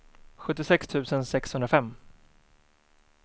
sjuttiosex tusen sexhundrafem